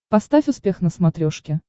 поставь успех на смотрешке